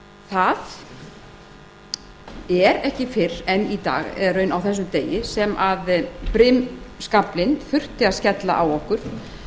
það er ekki fyrr en á þessum degi sem brimskaflinn þurfti að skella á okkur